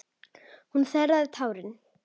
Hún þerraði tárin.